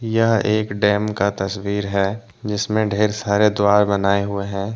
यह एक डैम का तस्वीर है जिसमें ढ़ेर सारे द्वारा बनाए हुए हैं।